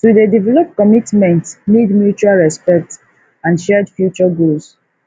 to dey develop commitment need mutual respect and shared future goals